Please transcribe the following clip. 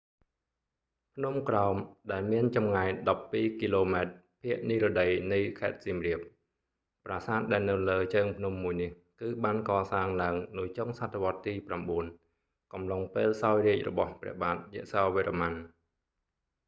ភ្នំក្រោម ដែលមានចម្ងាយ 12 គីឡូម៉ែត្រភាគនិរតីនៃខេត្តសៀមរាប ប្រាសាទដែលនៅលើជើងភ្នំមួយនេះ គឺបានកសាងឡើងនៅចុងសតវត្សទី9 កំឡុងពេលសោយរាជ្យរបស់ព្រះបាទយសោវរ្ម័ន